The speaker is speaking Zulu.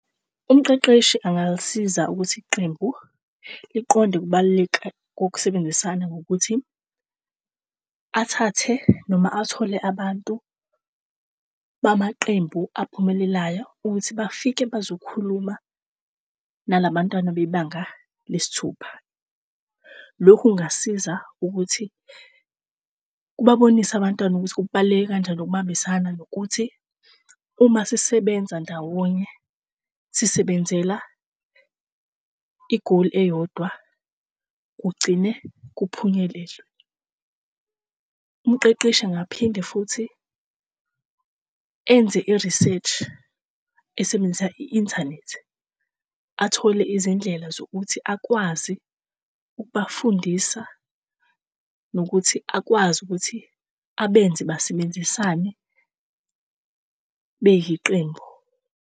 Umqeqeshi angasiza ukuthi iqembu liqonde kubaluleka kokusebenzisana ngokuthi athathe noma athole abantu bamaqembu aphumelelayo ukuthi bafike bazokhuluma nalabantwana bebanga lesithupha. Lokhu kungasiza ukuthi ukubabonisa abantwana ukuthi kubaluleke kanjani ukubambisana nokuthi uma sisebenza ndawonye sisebenzela i-goal eyodwa, kugcine kuphunyelelwe. Umqeqeshi angaphinde futhi enze i-research, esebenzisa i-internet athole izindlela zokuthi akwazi ukubafundisa nokuthi akwazi ukuthi abenze basebenzisane beyiqembu.